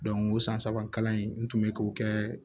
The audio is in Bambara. o san saba kalan in n tun bɛ k'o kɛ